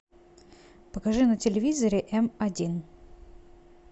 покажи на телевизоре м один